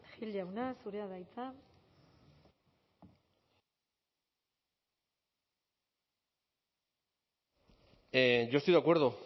gil jauna zurea da hitza yo estoy de acuerdo